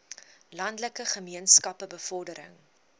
landelike gemeenskappe bevordering